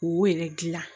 K'o yɛrɛ dilan